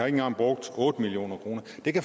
engang brugt otte million kroner